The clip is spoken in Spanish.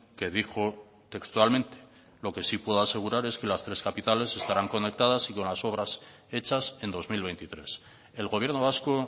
que dijo textualmente lo que sí puedo asegurar es que las tres capitales estarán conectadas y con las obras hechas en dos mil veintitrés el gobierno vasco